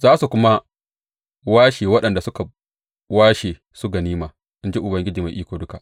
Za su kuma washe waɗanda suka washe su ganima, in ji Ubangiji Mai Iko Duka.